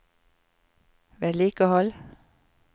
vedlikehold